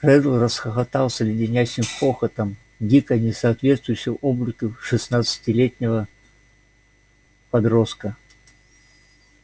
реддл расхохотался леденящим хохотом дико не соответствующим облику шестнадцатилетнего подростка